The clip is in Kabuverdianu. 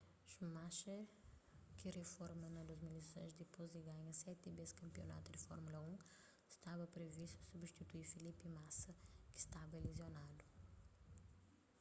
schumacher ki riforma na 2006 dipôs di ganha seti bês kanpionatu di fórmula 1 staba privistu substitui felipe massa ki staba lizionadu